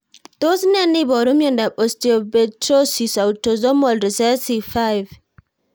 Tos ne neiparu miondop Osteopetrosis autosomal recessive 5?